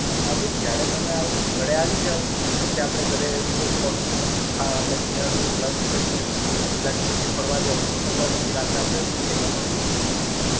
હા બેન. જયારે તમે આવો ઘરે આવી જાવ, પછી આપડે ઘરે થોડુંક ફરશું આપડે બીજા Lunch કરી લયસું. Lunch પછી ફરવા જાસુ ને ફરવા પછી રાતના આપડે theater માં આપડે Film જોય લઇશુ.